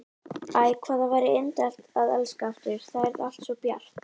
Æ, hvað það væri indælt að elska aftur, þá yrði allt svo bjart.